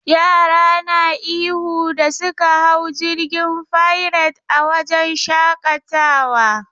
Yara na ihu da suka hau jirgin fairet a wajen shakatawa..